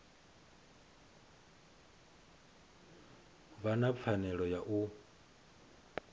vha na pfanelo ya u